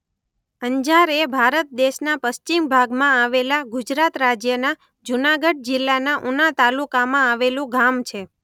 અંજાર એ ભારત દેશના પશ્ચિમ ભાગમાં આવેલા ગુજરાત રાજ્યના જૂનાગઢ જિલ્લાના ઉના તાલુકામાં આવેલું ગામ છે.